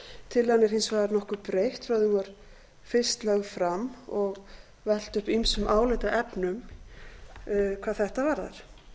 tillagan er hins vegar nokkuð breytt frá því hún var fyrst lögð fram og velt upp ýmsum álitaefnum hvað þetta varðar